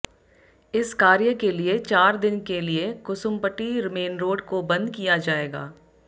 इस कार्य के लिए चार दिन के लिए कुसुम्पटी मेन रोड को बंद किया जाएगा